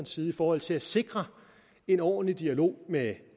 side i forhold til at sikre en ordentlig dialog med